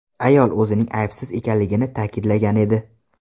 Ayol o‘zining aybsiz ekanligini ta’kidlagan edi.